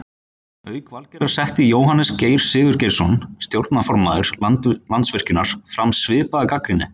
Auk Valgerðar setti Jóhannes Geir Sigurgeirsson stjórnarformaður Landsvirkjunar fram svipaða gagnrýni.